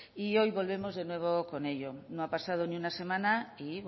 y hoy volvemos de nuevo con ello no ha pasado ni una semana y